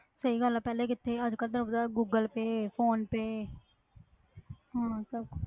ਸਹੀ ਗੱਲ ਹੈ ਪਹਿਲੇ ਕਿੱਥੇ ਅੱਜ ਕੱਲ੍ਹ ਤੇ ਆਪਦਾ ਗੂਗਲ ਪੇਅ ਫ਼ੌਨ ਪੇਅ ਹਮ ਸਭ ਕੁ~